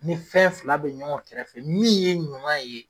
Ni fɛn fila bɛ ɲɔgɔn kɛrɛfɛ min ye ɲuman ye